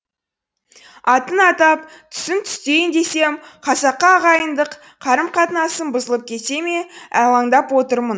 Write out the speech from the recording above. атын атап түсін түстейін десем қазақы ағайындық қарым қатынасым бұзылып кете ме алаңдап отырмын